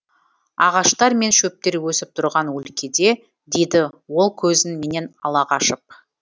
ағаштар мен шөптер өсіп тұрған өлкеде дейді ол көзін менен ала қашып